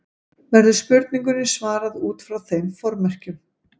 Verður spurningunni svarað út frá þeim formerkjum.